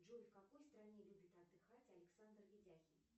джой в какой стране любит отдыхать александр ведяхин